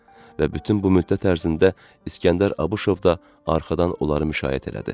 Və bütün bu müddət ərzində İsgəndər Abışov da arxadan onları müşayiət edədi.